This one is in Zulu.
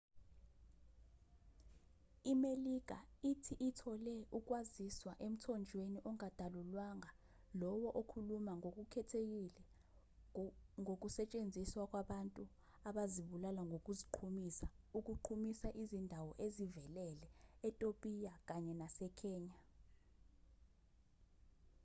imelika ithi ithole ukwaziswa emthonjweni ongadalulwanga lowo okhuluma ngokukhethekile ngokusetshenziswa kwabantu abazibulala ngokuziqhumisa ukuqhumisa izindawo ezivelele etopiya kanye nasekenya